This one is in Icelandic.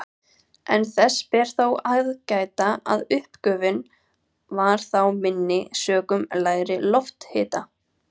En þess ber þó að gæta að uppgufun var þá minni sökum lægri lofthita.